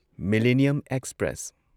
millennium express